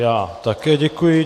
Já také děkuji.